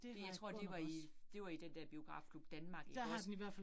Det jeg tror det var i det var i den der Biografklub Danmark ikke også